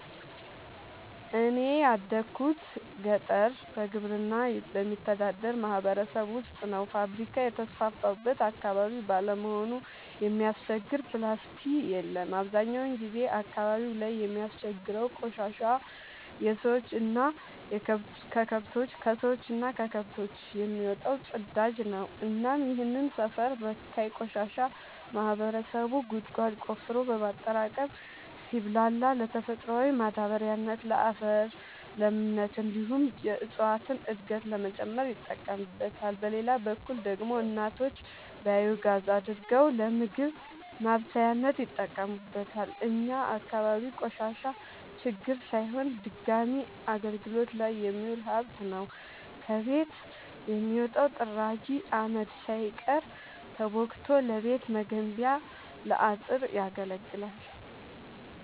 እኔ ያደጉት ገጠር በግብርና በሚተዳደር ማህበረሰብ ውስጥ ነው። ፋብሪካ የተስፋፋበት አካባቢ ባለመሆኑ የሚያስቸግር ፕላስቲ የለም አብዛኛውን ጊዜ አካባቢው ላይ የሚያስቸግረው ቆሻሻ የከሰዎች እና ከከብቶች የሚወጣው ፅዳጅ ነው እናም ይህንን ሰፈር በካይ ቆሻሻ ማህበረሰቡ ጉድጓድ ቆፍሮ በማጠራቀም ሲብላላ ለተፈጥሯዊ ማዳበሪያነት ለአፈር ለምነት እንዲሁም የእፀዋትን እድገት ለመጨመር ይጠቀምበታል። በሌላ በኩል ደግሞ እናቶች ባዮጋዝ አድርገው ለምግብ ማብሰያነት ይጠቀሙበታል። እኛ አካባቢ ቆሻሻ ችግር ሳይሆን ድጋሚ አገልግት ላይ የሚውል ሀብት ነው። ከቤት የሚወጣው ጥራጊ አመድ ሳይቀር ተቦክቶ ለቤት መገንቢያ ለአጥር ያገለግላል።